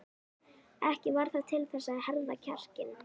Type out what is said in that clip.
Ekki varð það til þess að herða kjarkinn.